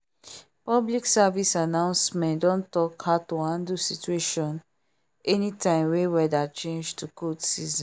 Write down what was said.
public service announcement don talk how to handle situation anytime wey weather change to cold season